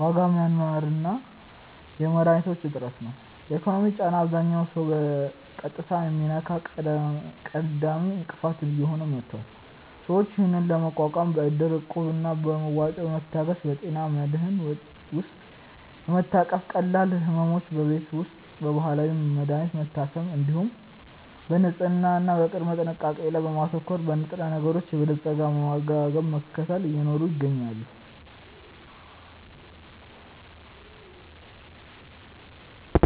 ዋጋ መናር እና የመድኃኒቶች እጥረት ነው። የኢኮኖሚው ጫና አብዛኛውን ሰው በቀጥታ የሚነካ ቀዳሚ እንቅፋት እየሆነ መጥቷል። ሰዎች ይህንን ለመቋቋም በእድር፣ እቁብ እና በመዋጮ በመታገዝ፣ በጤና መድህን ውስጥ በመታቀፍ፣ ቀላል ሕመሞችን በቤት ውስጥና በባህላዊ መድሀኒቶች በመታከም፣ እንዲሁም በንጽህና እና በቅድመ ጥንቃቄ ላይ በማተኮር፣ በንጥረነገሮች የበለፀገ አመጋገብን በመከተል እየኖሩ ይገኛሉ።